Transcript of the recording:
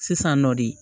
Sisan nɔ de